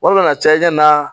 Wala ka caya i ɲɛna